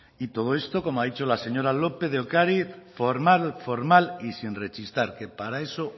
y todo esto como ha dicho la señora lópez de ocariz formal formal y sin rechistar que para eso